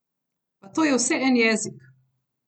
Pa to je vse en jezik!